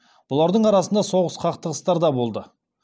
бұлардың арасында соғыс қақтығыстар болды